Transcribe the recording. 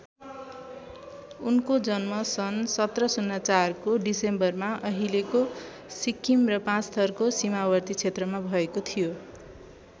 उनको जन्म सन् १७०४ को डिसेम्बरमा अहिलेको सिक्किम र पाँचथरको सीमावर्ती क्षेत्रमा भएको थियो।